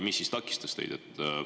Mis teid takistas?